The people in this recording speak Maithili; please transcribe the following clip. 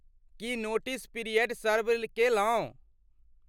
की नोटिस पीरियड सर्व केलहुँ?